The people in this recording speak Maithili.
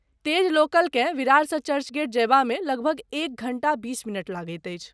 तेज लोकलकेँ विरारसँ चर्चगेट जयबामे लगभग एक घण्टा बीस मिनट लगैत अछि।